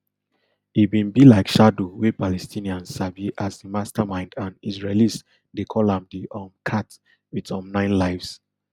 e bin be like shadow wey palestinians sabi as di mastermind and israelis dey call am di um cat wit um nine lives